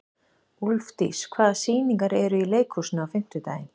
Úlfdís, hvaða sýningar eru í leikhúsinu á fimmtudaginn?